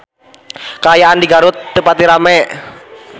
Kaayaan di Garut teu pati rame